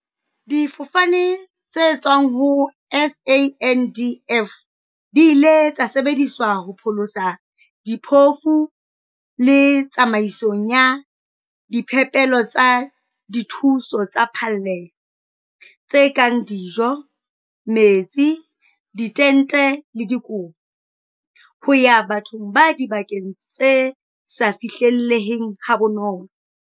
"Difofane tse tswang ho SANDF di ile tsa sebedisetswa ho pholosa diphofu le tsamaisong ya diphepelo tsa dithuso tsa phallelo- tse kang dijo, metsi, ditente le dikobo - ho ya bathong ba dibakeng tse sa fihlelleheng ha bonolo."